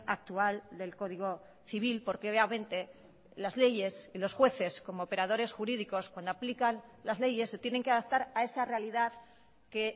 actual del código civil porque obviamente las leyes y los jueces como operadores jurídicos cuando aplican las leyes se tienen que adaptar a esa realidad que